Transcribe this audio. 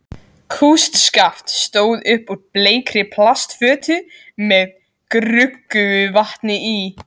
Kústskaft stóð upp úr bleikri plastfötu með gruggugu vatni í.